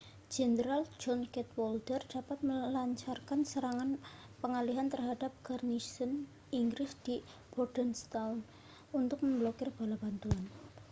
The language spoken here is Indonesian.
jenderal john cadwalder dapat melancarkan serangan pengalihan terhadap garnisun inggris di bordentown untuk memblokir bala bantuan